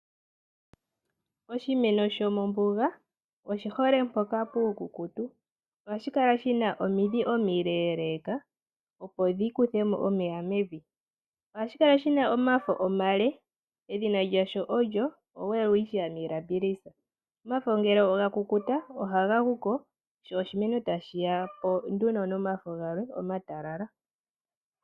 Oshimeno shomombuga oshihole mpoka puukukutu . Ohashi kala shina omidhi omileeleka opo dhikuthemo omeya mwvi edhina lyasho olyo Welwistchia mirabilis . Omafo ngele ga kukuta ohaga guko sho oshimeno tashiyako nduno nomafo galwe omatalala.